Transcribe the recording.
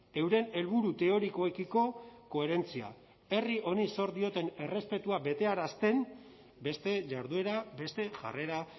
euren helburu teorikoekiko koherentzia herri honi zor dioten errespetua betearazten beste jarduera beste jarrera